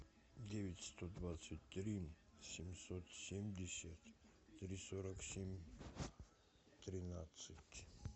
девять сто двадцать три семьсот семьдесят три сорок семь тринадцать